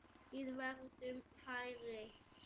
Við verðum færri.